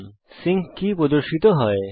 Firefox sync কী প্রদর্শন করে